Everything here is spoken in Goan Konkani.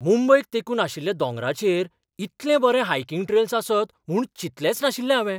मुंबयक तेंकून आशिल्ल्या दोंगरांचेर इतले बरें हायकिंग ट्रेल्स आसत म्हूण चिंतलेंच नाशिल्लें हावें.